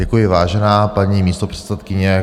Děkuji, vážená paní místopředsedkyně.